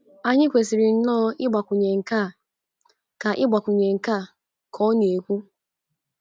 Anyi kwesiri nnoọ igbakwunye nkea'' ka igbakwunye nkea'' ka ọ na - ekwu